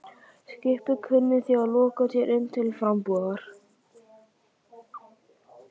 Skipið kunni því að lokast hér inni til frambúðar.